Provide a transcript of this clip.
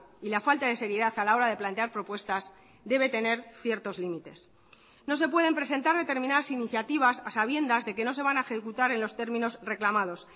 y la falta de seriedad a la hora de plantear propuestas debe tener ciertos límites no se pueden presentar determinadas iniciativas a sabiendas de que no se van a ejecutar en los términos reclamados